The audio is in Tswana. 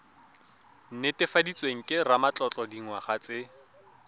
netefaditsweng ke ramatlotlo dingwaga tse